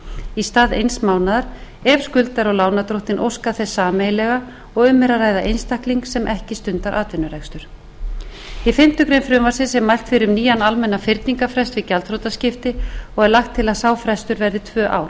í stað eins mánaðar ef skuldari eða lánardrottinn óska þess sameiginlega og um er að ræða einstakling sem ekki stundar atvinnurekstur í fimmtu grein frumvarpsins er mælt fyrir um nýjan almennan fyrningarfrest við gjaldþrotaskipti og er lagt til að sá frestur verði tvö ár ef um samþykkta